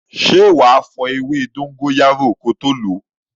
Ṣé wá fo ewé dóngóyárò ko tó lo?